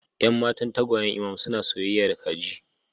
Yan matan tagwayen imam suna soyayya da kaji